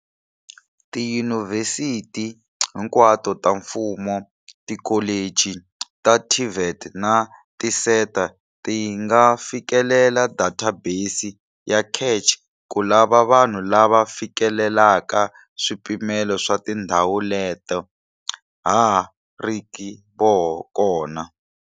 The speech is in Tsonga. Tiyunivhesiti hinkwato ta mfumo, tikholichi ta TVET na tiSETA ti nga fikelela databesi ya CACH ku lava vanhu lava fikelelaka swipimelo swa tindhawu leta ha riki kona.